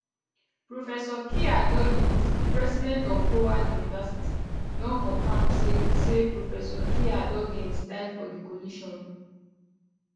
professor kiah duggins di president of howard university don confam say say professor kiah duggins die for di collision